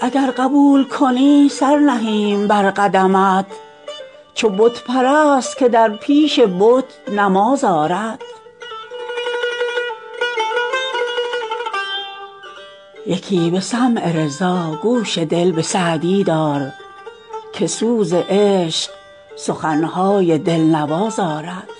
اگر قبول کنی سر نهیم بر قدمت چو بت پرست که در پیش بت نماز آرد یکی به سمع رضا گوش دل به سعدی دار که سوز عشق سخن های دل نواز آرد